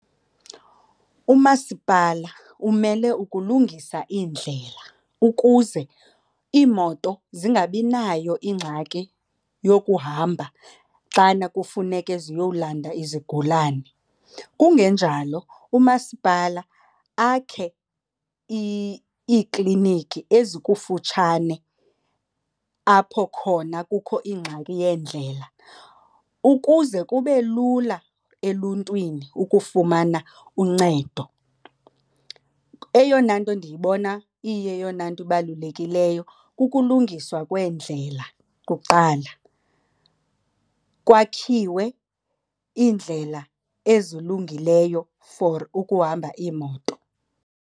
Umasipala umele ukulungisa iindlela ukuze iimoto zingabi nayo ingxaki yokuhamba xana kufuneke ziyolanda izigulani. Kungenjalo umasipala akhe iikliniki ezikufutshane apho khona kukho ingxaki yeendlela ukuze kube lula eluntwini ukufumana uncedo. Eyona nto ndiyibona iyeyona nto ibalulekileyo kukulungiswa kweendlela kuqala, kwakhiwe iindlela ezilungileyo for ukuhamba iimoto.